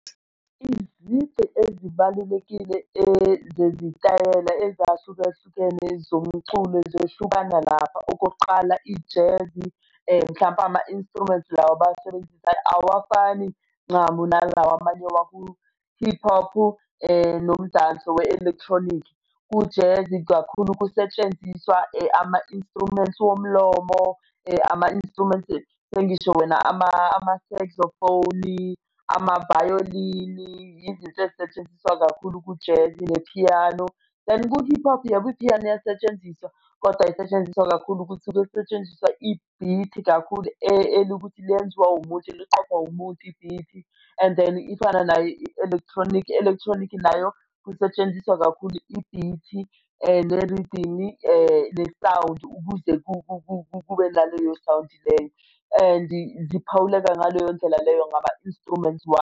Izici ezibalulekile zezitayela ezahlukahlukene zomculo zehlukana lapha. Okokuqala i-jazz, mhlampe ama-instruments lawa abawasebenzisayo awafani ncamu nalawa amanye waku-hip hop-u nomdanso, we-electronic. Ku-jazz kakhulu kusetshenziswa ama-instruments womlomo ama-instruments sengisho wena ama-sexophone, amavayolini, yizinto ezisetshenziswa kakhulu ku-jazz, nephiyano. Kanti ku-hip hop yebo iphiyano iyasetshenziswa kodwa isetshenziswa kakhulu ukuthi kusetshenziswa i-beat kakhulu elokuthi lenziwa umuntu liqophwa umuntu i-beat-i and then ifana naye, i-electronic, i-electronic nayo kusetshenziswa kakhulu i-beat-i, ne-rythem-i, ne-sound ukuze kube naleyo sound leyo, and-i ziphawuleka ngaleyo ndlela leyo ngama instruments wabo.